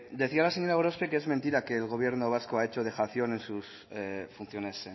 decía la señora gorospe que es mentira que el gobierno vasco ha hecho dejación en sus funciones